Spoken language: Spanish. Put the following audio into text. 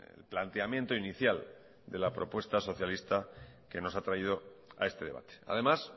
el planteamiento inicial de la propuesta socialista que nos ha traído a este debate además